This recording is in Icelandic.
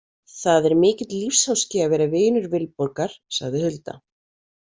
Það er mikill lífsháski að vera vinur Vilborgar, sagði Hulda.